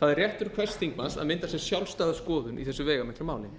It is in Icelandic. það er réttur hvers þingmanns að mynda sér sjálfstæða skoðun í þessu veigamikla máli